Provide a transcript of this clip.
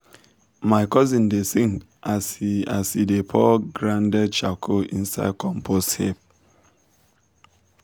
my cousin dey sing as he as he dey pour grounded charcoal inside him compost heap.